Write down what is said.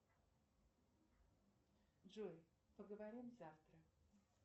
джой поговорим завтра